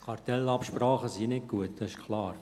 Kartellabsprachen sind nicht gut, das ist klar.